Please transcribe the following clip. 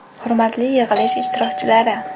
Hurmatli yig‘ilish ishtirokchilari!